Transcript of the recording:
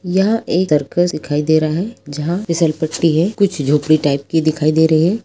यह एक सर्कस दिखाई दे रहा है जहाँ फिसलपट्टी है कुछ झोपड़ी टाइप की दिखाई दे रही है।